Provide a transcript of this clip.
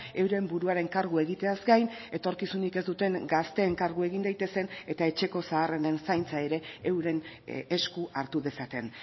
euren buruaren kargu egiteaz gain etorkizunik ez duten gazteen kargu egin daitezen eta etxeko zaharrenen zaintza ere euren esku hartu dezaten